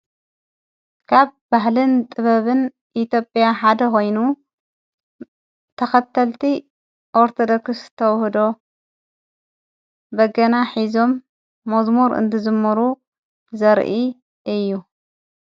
ካብ ባሕልን ጥበብን ኢትዮጵያ ሓደ ኾይኑ ተኸተልቲ ኦርቶ ዶክስ ተውህዶ በገና ሕዞም መዝሙር እንትዝሙሩ ዘርኢ እዩ::